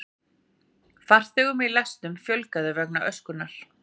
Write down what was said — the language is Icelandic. Farþegum í lestum fjölgaði vegna öskunnar